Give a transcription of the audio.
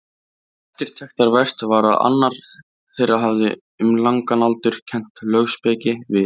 Eftirtektarvert var að annar þeirra hafði um langan aldur kennt lögspeki við